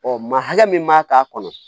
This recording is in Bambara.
Ɔ maa hakɛ min b'a k'a kɔnɔ